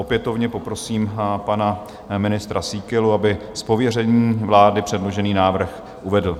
Opětovně poprosím pana ministra Síkelu, aby z pověření vlády předložený návrh uvedl.